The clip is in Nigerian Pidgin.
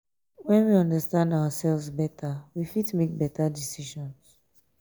when we understand ourselves better we fit make better decisions